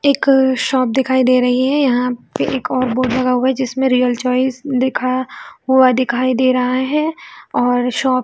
एक शॉप दिखाई दे रही है यहाँ पे एक और बोर्ड लगा हुआ है जिसमें रियल चॉइस लिखा हुआ दिखाई दे रहा है और शॉप --